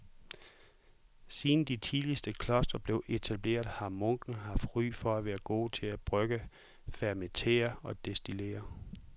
Siden de tidligste klostre blev etableret har munke haft ry for at være gode til at brygge, fermentere og destillere.